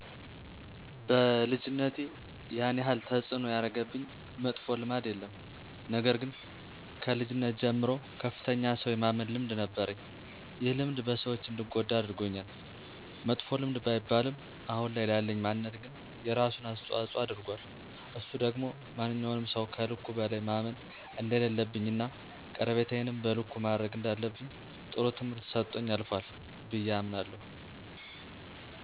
በልጅነቴ ያን ያህል ተፅዕኖ ያረገብኝ መጥፎ ልማድ የለም፤ ነገር ግን ከልጅነት ጀምሮ ከፍተኛ ሠው የማመን ልምድ ነበረኝ። ይህ ልምድ በሰዎች እንድጐዳ አድርጎኛል፤ መጥፎ ልምድ ባይባልም አሁን ላይ ላለኝ ማንነት ግን የራሱን አስተዋፅኦ አድርጓል፤ እሱም ደግሞ ማንኛውንም ሠው ከልኩ በላይ ማመን እንደሌለብኝ እና ቀረቤታዬንም በልኩ ማድረግ እንዳለብኝ ጥሩ ትምህርት ሰጦኝ አልፏል ብዬ አምናለሁ።